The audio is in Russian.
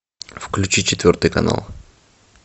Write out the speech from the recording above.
включи четвертый канал